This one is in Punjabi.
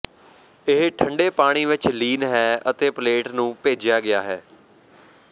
ਇਹ ਠੰਡੇ ਪਾਣੀ ਵਿਚ ਲੀਨ ਹੈ ਅਤੇ ਪਲੇਟ ਨੂੰ ਭੇਜਿਆ ਗਿਆ ਹੈ